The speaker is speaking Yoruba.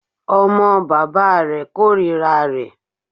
Ọmọ bàbá rẹ̀ kòrira rẹ̀.